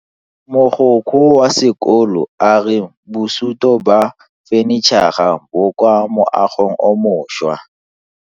Mogokgo wa sekolo a re bosuto ba fanitšhara bo kwa moagong o mošwa.